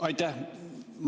Aitäh!